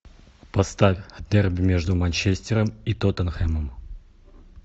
поставь дерби между манчестером и тоттенхэмом